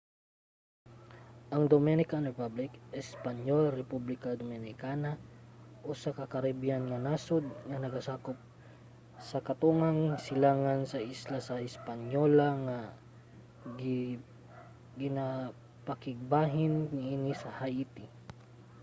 ang dominican republic espanyol: república dominicana usa ka caribbean nga nasod nga nagasakop sa katungang silangan sa isla sa hispaniola nga ginapakigbahin niini sa haiti